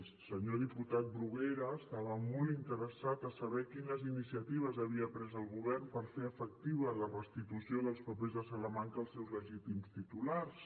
el senyor diputat bruguera estava molt interessat a saber quines iniciatives havia pres el govern per fer efectiva la restitució dels papers de salamanca als seus legítims titulars